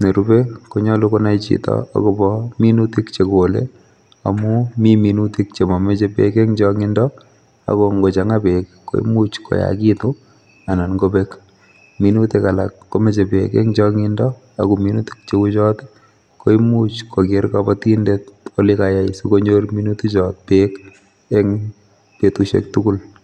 nerube konyolu konai chito akobo minuutik chegole, amun mi minuutik chemomoche beek en chongiido ako ingochangaa beek koimuch koyaagitun anan kobeek. Minutik alak komoche beek en chongindo ak minutik cheuchotok koimuch kogeer kobotindet kole kayai nee sikonyor minutik beek, betusiek tugul